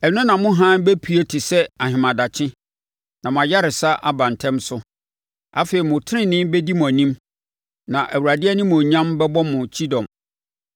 Ɛno na mo hann bɛpue te sɛ ahemadakye, na mo ayaresa aba ntɛm so; afei mo tenenee bɛdi mo anim, na Awurade animuonyam bɛbɔ mo kyidɔm.